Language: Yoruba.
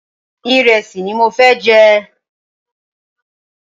Ìrẹ́sì ni mo fẹ́ jẹ.